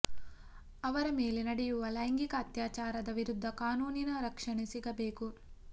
ಅವರ ಮೇಲೆ ನಡೆಯುವ ಲೈಂಗಿಕ ಅತ್ಯಾಚಾರದ ವಿರುದ್ಧ ಕಾನೂನಿನ ರಕ್ಷಣೆ ಸಿಗಬೇಕು